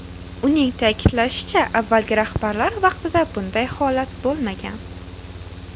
Uning ta’kidlashicha, avvalgi rahbarlar vaqtida bunday holat bo‘lmagan.